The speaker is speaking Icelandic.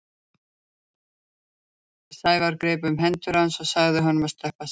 Sævar greip um hendur hans og sagði honum að sleppa sér.